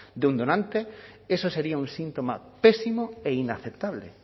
de un donante eso sería un síntoma pésimo e inaceptable